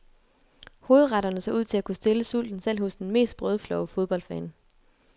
Hovedretterne så ud til at kunne stille sulten selv hos den mest brødflove fodboldfan.